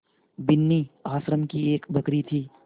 बिन्नी आश्रम की एक बकरी थी